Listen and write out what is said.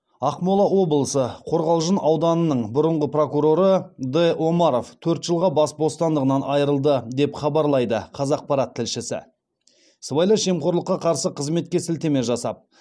ақмола облысы қорғалжың ауданының бұрынғы прокуроры д омар төрт жылға бас бостандығынан айырылды деп хабарлайды қазақпарат тілшісі сыбайлас жемқорлыққа қарсы қызметке сілтеме жасап